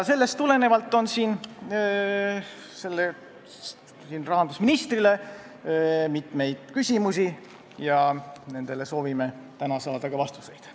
Sellest tulenevalt on meil rahandusministrile mitu küsimust, millele soovime täna ka vastuseid saada.